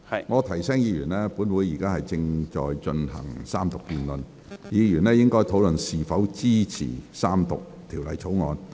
我提醒議員，本會現正進行三讀辯論，議員應陳述是否支持三讀《條例草案》。